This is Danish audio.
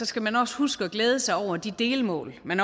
skal man også huske at glæde sig over de delmål man